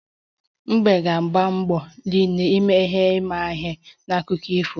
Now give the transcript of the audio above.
Mbe ga-agbalị mgbe niile ime ihe imaihe na akụkọ ifo